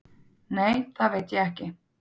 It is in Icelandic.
Nei, það veit ég ekki